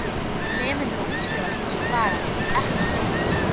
Nemendur að útskrifast þessa dagana ekki satt.